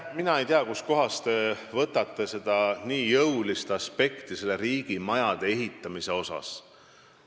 Mina ei tea, kust kohast te võtate selle riigimajade ehitamise nii jõulise aspekti.